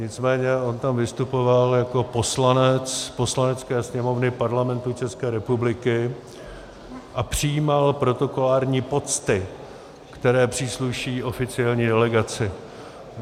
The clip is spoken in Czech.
Nicméně on tam vystupoval jako poslanec Poslanecké sněmovny Parlamentu České republiky a přijímal protokolární pocty, které přísluší oficiální delegaci.